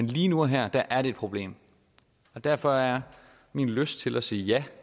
lige nu og her er det et problem og derfor er min lyst til at sige ja